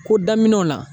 Ko daminɛw na